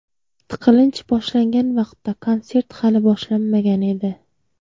Tiqilinch boshlangan vaqtda konsert hali boshlanmagan edi.